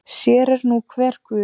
Sér er nú hver guð.